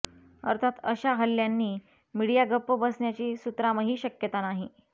अर्थात अशा हल्ल्यांनी मिडिया गप्प बसण्याची सुतरामही शक्यता नाही